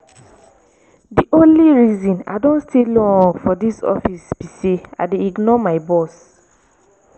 the only reason i don stay dis long for dis office be say i dey ignore my boss